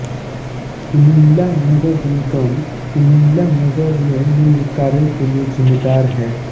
कुमिल्ला नगर निगम कुमिल्ला नगर में निम्न कार्यों के लिए ज़िम्मेदार है